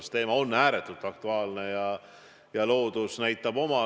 See küsimus on ääretult aktuaalne ja loodus nõuab oma.